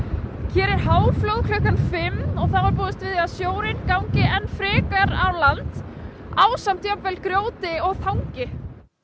hér er háflóð klukkan fimm og þá er búist við að sjórinn gangi enn frekar á land ásamt jafnvel grjóti og þangi